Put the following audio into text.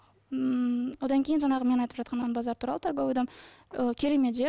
ммм одан кейін жаңағы мен айтып жатқан торговый дом керемет жер